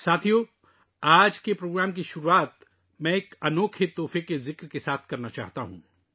دوستو، میں آج کا پروگرام ایک منفرد تحفہ کے حوالے کے ساتھ شروع کرنا چاہتا ہوں